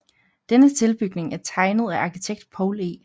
Denne tilbygning er tegnet af arkitekt Poul E